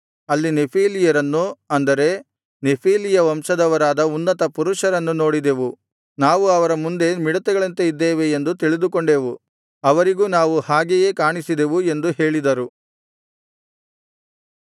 ಅಲ್ಲಿ ನೆಫೀಲಿಯರನ್ನು ಅಂದರೆ ನೆಫೀಲಿಯ ವಂಶದವರಾದ ಉನ್ನತ ಪುರುಷರನ್ನು ನೋಡಿದೆವು ನಾವು ಅವರ ಮುಂದೆ ಮಿಡತೆಗಳಂತೆ ಇದ್ದೇವೆ ಎಂದು ತಿಳಿದುಕೊಂಡೆವು ಅವರಿಗೂ ನಾವು ಹಾಗೆಯೇ ಕಾಣಿಸಿದೆವು ಎಂದು ಹೇಳಿದರು